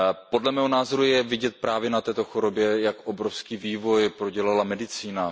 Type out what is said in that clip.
Podle mého názoru je vidět právě na této chorobě, jak obrovský vývoj prodělala medicína.